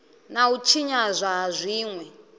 na u tshinyadzwa ha zwinwe